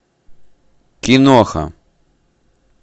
киноха